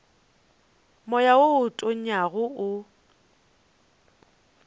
moya wo o tonyago o